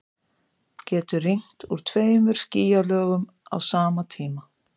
Getur rignt úr tveimur skýjalögum á sama tíma?